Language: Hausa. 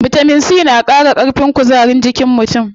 Bitamin C na qara ƙarfin kuzarin jikin mutum.